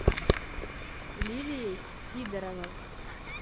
лилией сидоровой